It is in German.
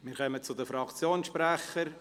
Wir kommen zu den Fraktionssprechern.